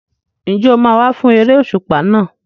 Ǹjẹ́ o máa wá fún eré òṣùpá náà?